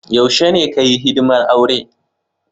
Yaushe ne ka Yi hidimar aure?